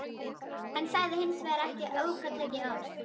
Hann sagði hins vegar ekki aukatekið orð.